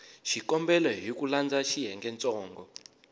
xikombelo hi ku landza xiyengentsongo